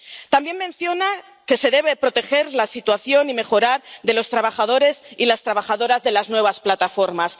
También menciona que se debe proteger y mejorar la situación de los trabajadores y las trabajadoras de las nuevas plataformas.